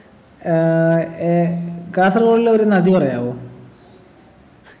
ഏർ ഏർ കാസർകോടിലെ ഒരു നദി പറയാവോ